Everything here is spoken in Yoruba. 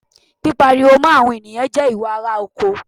Pípariwo mọ́ àwọn ènìyàn jẹ́ ìwà ará oko.